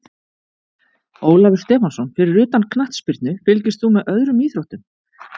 Ólafur Stefánsson Fyrir utan knattspyrnu, fylgist þú með öðrum íþróttum?